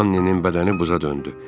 Annenin bədəni buza döndü.